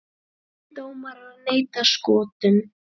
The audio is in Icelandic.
Pólskir dómarar neita Skotum